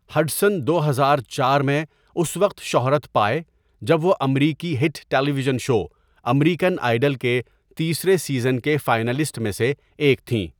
Hudson دو ہزار چار میں اس وقت شہرت پائیں جب وہ امریکی hit television show American Idol کے تیسرے سیزن کے فائنلسٹ میں سے ایک تھیں۔